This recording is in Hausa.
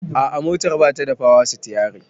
A'a motar batada power stiyari